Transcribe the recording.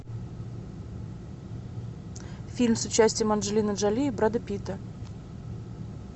фильм с участием анджелины джоли и брэда питта